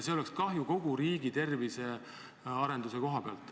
See oleks kahju kogu riigi tervisearenduse koha pealt.